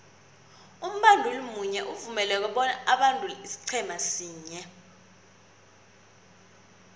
umbanduli munye uvumeleke bona abandule isiqhema sinye